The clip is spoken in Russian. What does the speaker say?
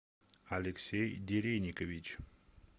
алексей дереникович